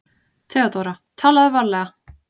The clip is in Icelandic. THEODÓRA: Talaðu varlega.